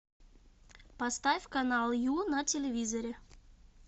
поставь канал ю на телевизоре